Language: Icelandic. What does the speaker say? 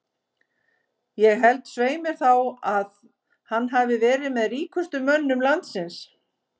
Ég held svei mér þá að að hann hafi verið með ríkustu mönnum landsins.